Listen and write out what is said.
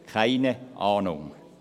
– Keine Ahnung!